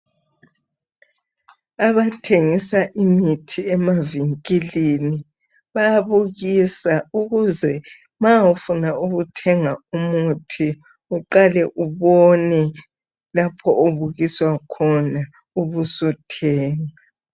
Abathengisa imithi emavinkilini bayabukisa ukuze ma ufuna ukuthenga umuthi uqale ubone lapho obukiswa khona ubusuthenga.